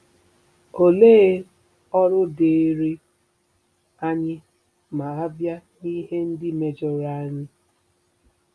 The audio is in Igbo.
Olee ọrụ dịịrị anyị ma a bịa n'ihe ndị mejọrọ anyị?